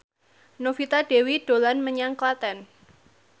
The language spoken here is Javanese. Novita Dewi dolan menyang Klaten